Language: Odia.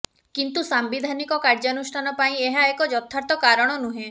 କିନ୍ତୁ ସାମ୍ବିଧାନିକ କାର୍ଯ୍ୟାନୁଷ୍ଠାନ ପାଇଁ ଏହା ଏକ ଯଥାର୍ଥ କାରଣ ନୁହେଁ